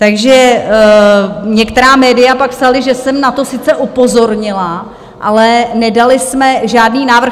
Takže některá média pak psala, že jsem na to sice upozornila, ale nedali jsme žádný návrh.